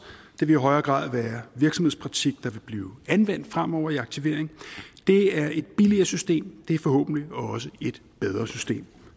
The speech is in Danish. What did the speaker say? vil i højere grad være virksomhedspraktik der vil blive anvendt fremover i aktivering det er et billigere system og det er forhåbentlig også et bedre system